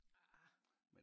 Arrr